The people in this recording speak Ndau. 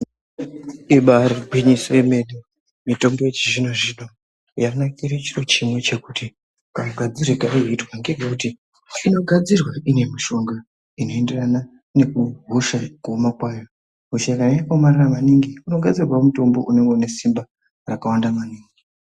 Ibari gwinyiso yemene mitombo yechizvino-zvino yanakire chiro chimwe chekuti kamugadzirire kaunoitwa. Ngekuti inogadzirwa ine mushonga inoenderana nekuhosha kuoma kwayo. Hosha kana yakaomarara maningi kunodadzirwavo mutombo unenge unesimba rakawanda maningi.